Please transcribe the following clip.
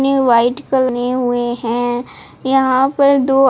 ये व्हाईट करे हुए है यहां पे दो--